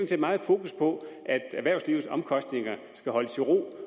set meget fokus på at erhvervslivets omkostninger skal holdes i ro